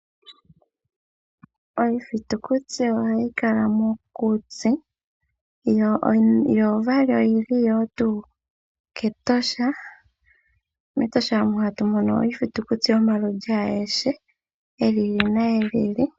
Iithitukuti ohayi kala mokuti, yo ishewe oyili tuu mEtosha. MEtosha ohatu mono mo iithitukuti yomaludhi agehe gi ili nogi ili.